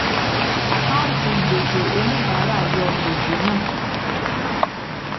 àkáǹtí gbèsè oníbàárà yọ gbèsè náà